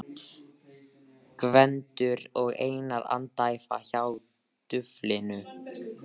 Gvendur og Einar andæfa hjá duflinu.